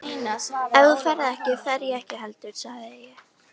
Ef þú ferð ekki, fer ég ekki heldur sagði ég.